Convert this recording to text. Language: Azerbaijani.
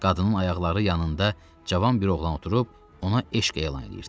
Qadının ayaqları yanında cavan bir oğlan oturub ona eşq elan eləyirdi.